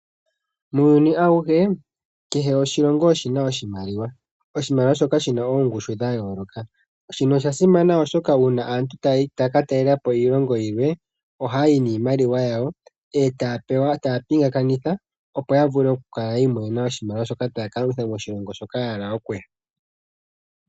Muuyuni awuhe kehe oshilongo oshina oshimaliwa shina ongushu ya yooloka. Shino osha simana oshoka uuna aantu taya ka talelapo iilongo yilwe oha ya yi niimaliwa yawo eta ya pingakanitha opo ya vule oku kala yi imonena oshimaliwa shoka taya ka longitha koshilongo hoka ya hala okuya.